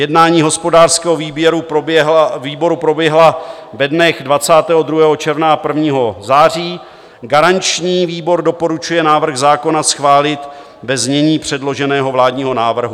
Jednání hospodářského výboru proběhla ve dnech 22. června a 1. září, garanční výbor doporučuje návrh zákona schválit ve znění předloženého vládního návrhu.